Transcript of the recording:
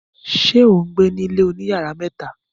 Ṣé ó ń gbé ní ilé oníyàrá mẹ́ta?